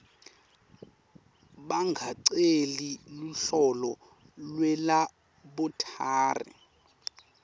bangaceli luhlolo lwelabholathri